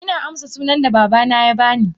Ina amsa sunan da babana ya bani.